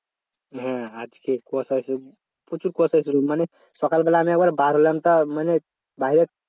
হ্যাঁ আজকে কুয়াশা হয়েছিল প্রচুর কুয়াশা হয়েছিল মানে সকালবেলা আমি আবার বের হলাম তা মানে বাইরে